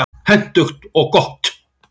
Hentugt og gott.